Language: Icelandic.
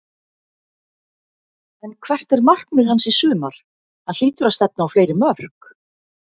En hvert er markmið hans í sumar, hann hlýtur að stefna á fleiri mörk?